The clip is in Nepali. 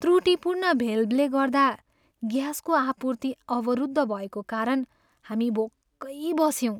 त्रुटिपूर्ण भेल्भले गर्दा ग्यासको आपूर्ति अवरुद्ध भएको कारण हामी भोकै बस्यौँ।